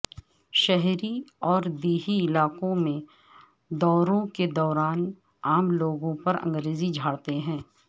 شہری اور دیہی علاقوں میں دوروں کے دوران عام لوگوں پر انگریزی جھاڑتے ہیں